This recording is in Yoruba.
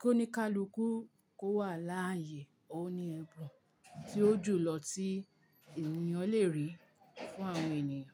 kóníkáluku kò wà láààyè, òun ni ẹ̀bùn tí ó jù lọ tí ènìyàn le rí fún àwọn ènìyàn.